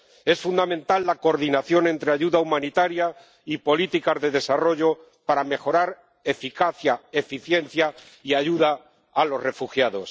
Es fundamental la coordinación entre ayuda humanitaria y políticas de desarrollo para mejorar la eficacia, la eficiencia y la ayuda a los refugiados.